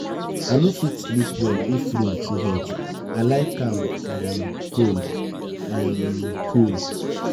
i no fit sleep well if room too hot i like am um cool. um cool.